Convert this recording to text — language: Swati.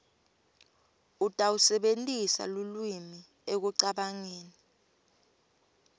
utawusebentisa lulwimi ekucabangeni